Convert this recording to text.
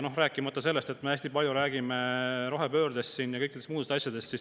Rääkimata sellest, et me räägime siin hästi palju rohepöördest ja kõikidest muudest asjadest.